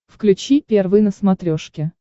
включи первый на смотрешке